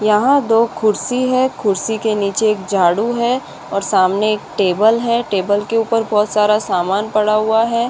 यहाँ दो खुडसी है खुडसी के नीचे झाड़ू है और सामने एक टेबल है टेबल के उपर बहुत सारा सामान पड़ा हुआ है।